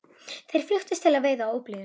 Þeir flykktust til veiða á óblíðum